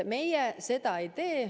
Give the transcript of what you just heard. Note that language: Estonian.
Meie seda ei tee.